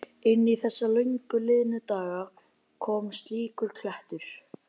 Inn í þessa löngu liðnu daga kom slíkur klettur.